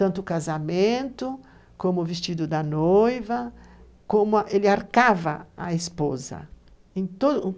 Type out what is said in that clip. Tanto o casamento, como o vestido da noiva, como ele arcava a esposa. Em